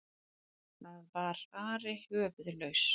Það var Ari höfuðlaus!